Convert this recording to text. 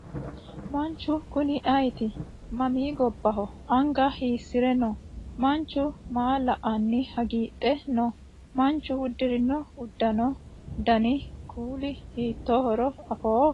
Manchu kuni ayeeti? Mami gobbaho? Anga hiissire no? Manchu maa la"anni hagiidhe noo? Manchu uddirino uddano Dani kuuli hiittohoro afoo?